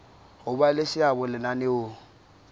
ho ba le seabo lenaneong